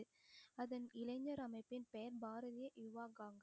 அதன் இளைஞர் அமைப்பின் பெயர் பாரதிய யுவ காங்கிரஸ்